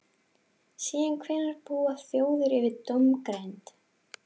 Síðan hvenær búa þjóðir yfir dómgreind?